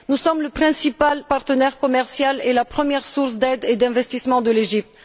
Nous sommes le principal partenaire commercial et la première source d'aide et d'investissement de l'Égypte.